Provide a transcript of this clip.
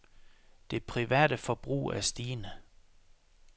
Det private forbrug er stigende.